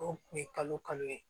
O kun ye kalo kalo ye